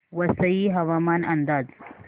वसई हवामान अंदाज